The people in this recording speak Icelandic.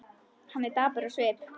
Hann er dapur á svip.